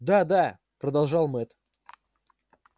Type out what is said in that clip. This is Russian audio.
да да продолжал мэтт